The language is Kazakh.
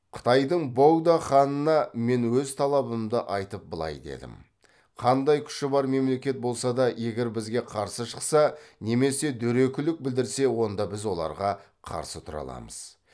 қытайдың богдо ханына мен өз талабымды айтып былай дедім қандай күші бар мемлекет болса да егер бізге қарсы шықса немесе дөрекілік білдірсе онда біз оларға қарсы тұра аламыз